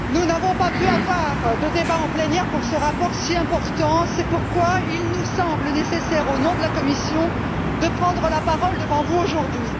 Monsieur le Président, nous n'avons pas pu avoir de débat en plénière sur ce rapport si important, c'est pourquoi il nous semble nécessaire, au nom de la commission, de prendre la parole devant vous aujourd'hui.